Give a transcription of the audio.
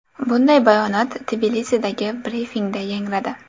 Bunday bayonot Tbilisidagi brifingda yangradi.